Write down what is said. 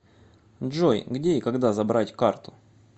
джой где и когда забрать карту